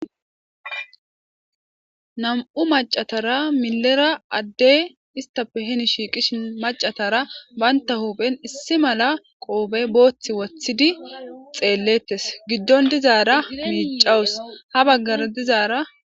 nam7u macatara milera adde ista pe heni shiiqishi macatara banta hoophen issi mala qoobe booththi wothidi xeellettes giddon dizaara miicawus ha baggara dizaara